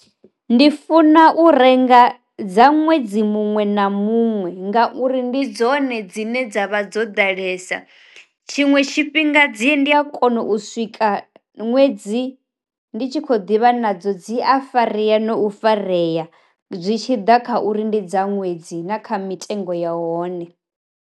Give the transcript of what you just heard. Ndi funa u renga dza ṅwedzi muṅwe na muṅwe ngauri ndi dzone dzine dza vha dzo ḓalesa, tshiṅwe tshifhinga dzi ndi a kona u swika ṅwedzi ndi tshi khou divha nadzo dzi a farea no farea zwi tshi ḓa kha uri ndi dza ṅwedzi na kha mitengo ya hone.